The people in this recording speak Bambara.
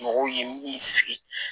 Mɔgɔw ye min sigi